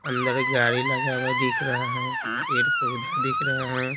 अंदर गाड़ी लगा हुआ दिख रहा है पेड़-पौधे दिख रहे हैं।